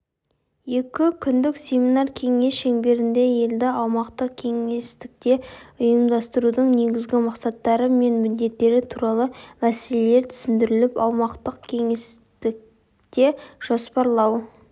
екі күндік семинар-кеңес шеңберінде елді аумақтық-кеңістікте ұйымдастырудың негізгі мақсаттары мен міндеттері туралы мәселелер түсіндіріліп аумақтық-кеңістікте жоспарлау